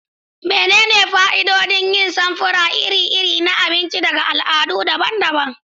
Menene fa'idodin yin samfura iri-iri na abinci daga al'adu daban-daban?